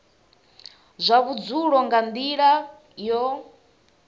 zwa vhudzulo nga nila yo